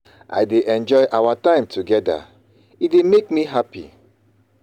I dey enjoy our time together, e dey make me happy.